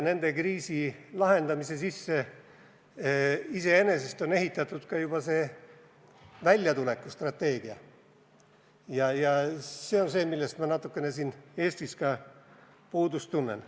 Nende kriisi lahendamise sisse on juba ehitatud ka väljatulekustrateegia, ja see on see, millest ma natuke siin Eestis puudust tunnen.